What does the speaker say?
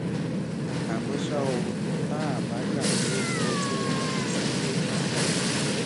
àmọ ṣá o tá a bá gbà pé iye tí wọn máa ń san ní àpapọ